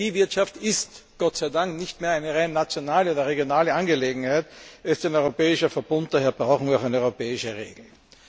Energiewirtschaft ist Gott sei Dank nicht mehr eine rein nationale oder regionale Angelegenheit, sondern ein europäischer Verbund, und daher brauchen wir auch eine europäische Regelung.